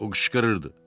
O qışqırırdı.